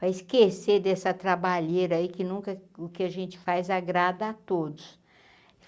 Para esquecer dessa trabalheira aí, que nunca, o que a gente faz, agrada a todos.